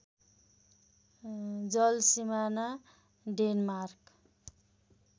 जल सिमाना डेनमार्क